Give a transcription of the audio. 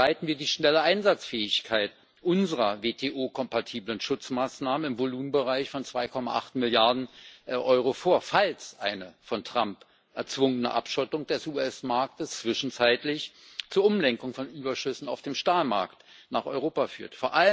Bereiten wir die schnelle Einsatzfähigkeit unserer WTO kompatiblen Schutzmaßnahmen im Volumenbereich von 2,8 Milliarden Euro vor, falls eine von Trump erzwungene Abschottung des US Marktes zwischenzeitlich zur Umlenkung von Überschüssen auf den Stahlmarkt nach Europa führt!